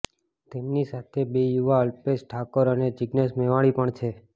તેમની સાથે બે યુવા અલ્પેશ ઠાકોર અને જિગ્નેશ મેવાણી પણ છે